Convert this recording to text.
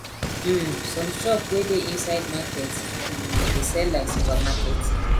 um some shop wey dey inside market um dey sell like super market